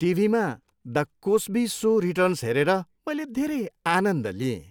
टिभीमा "the Cosby show" returns हेरेर मैले धेरै आनन्द लिएँ।